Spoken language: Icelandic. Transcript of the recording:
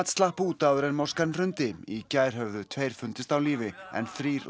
slapp út áður en hrundi í gær höfðu tveir fundist á lífi en þrír